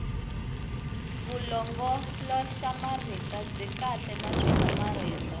vulongoloxamarito byi kahle naswona marito